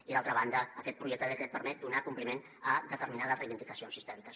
i d’altra banda aquest projecte de decret permet donar compliment a determinades reivindicacions històriques